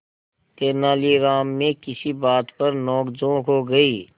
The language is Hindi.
तेनालीराम में किसी बात पर नोकझोंक हो गई